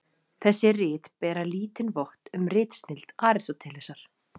Þessi rit bera lítinn vott um ritsnilld Aristótelesar.